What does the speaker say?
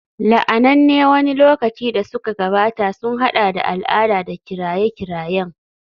La'ananne wani lokaci da suka gabata sun haɗa da al'ada da kiraye-kirayen